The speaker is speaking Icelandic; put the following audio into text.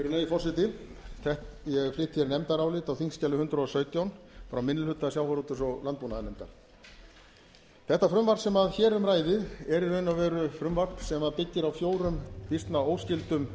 ég fékk hér nefndarálit á þingskjali hundrað og sautján frá minni hluta sjávarútvegs og landbúnaðarnefndar þetta frumvarp sem hér um ræðir er í raun og veru frumvarp sem byggir á fjórum býsna óskyldum